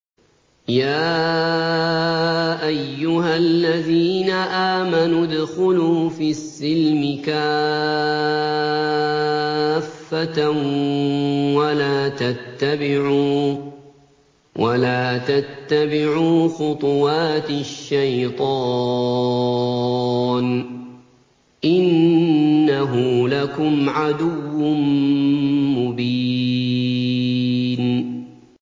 يَا أَيُّهَا الَّذِينَ آمَنُوا ادْخُلُوا فِي السِّلْمِ كَافَّةً وَلَا تَتَّبِعُوا خُطُوَاتِ الشَّيْطَانِ ۚ إِنَّهُ لَكُمْ عَدُوٌّ مُّبِينٌ